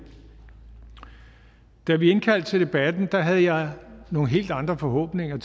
da vi indkaldte til debatten havde jeg nogle helt andre forhåbninger